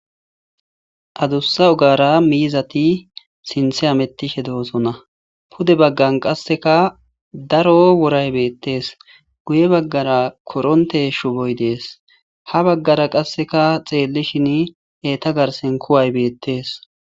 adussa ogara miizati sinthe amettishe doosona pude baggan qasseka daro woray beettees guye baggara koronte shuboy dees ha baggara qasseka xeellishin eta garsen kuway beettees